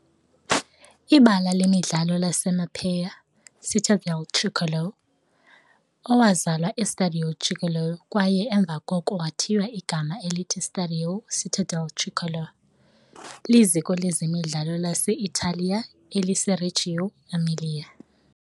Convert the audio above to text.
Ibala lemidlalo laseMapei - Città del Tricolore, owazalwa eStadio Giglio kwaye emva koko wathiywa igama elithi Stadio Città del Tricolore, liziko lezemidlalo lase-Italiya eliseReggio Emilia.